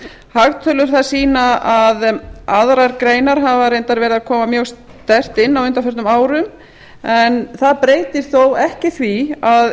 hagtölur sýna að aðrar greinar hafa reyndar verið að koma mjög sterkt inn á undanförnum árum en það breytir þó ekki því að